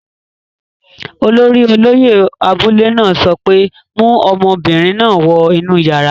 Olórí olóyẹ̀ abúlé náà sọ pé, 'mu ọmọbìnrin náà wọ inú yàrá!